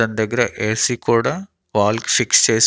దాన్ దగ్గర ఏసీ కూడా వాల్ కి ఫిక్స్ చేసి--